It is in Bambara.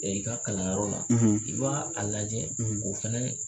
i ka kalanyɔrɔ la i b'a a lajɛ o fana